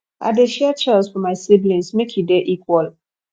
i dey share chores for my siblings make e dey equal